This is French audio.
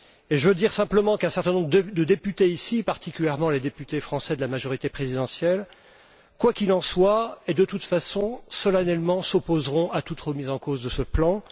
Je veux simplement dire qu'un certain nombre de députés particulièrement les députés français de la majorité présidentielle quoi qu'il en soit, et de toute façon, solennellement, s'opposeront à toute remise en cause de ce plan.